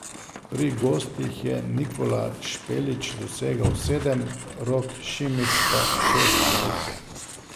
Pri gostih je Nikola Špelić dosegel sedem, Rok Šimić pa šest zadetkov.